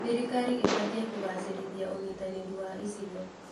Thirikari ĩbatiĩ kũgacĩrithia ũnyitanĩri wa icigo.